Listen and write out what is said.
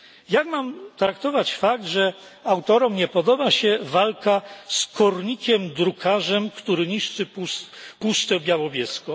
Jak mam traktować fakt, że autorom nie podoba się walka z kornikiem drukarzem, który niszczy Puszczę Białowieską.